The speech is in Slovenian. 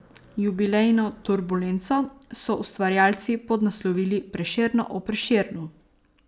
Jubilejno Turbulenco so ustvarjalci podnaslovili Prešerno o Prešernu.